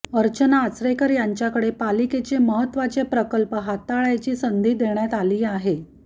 अर्चना आचरेकर यांच्याकडे पालिकेचे महत्त्वाचे प्रकल्प हाताळ्याची संधी देण्यात आली आहे